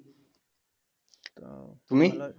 তো